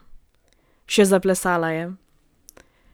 Še zaplesala je!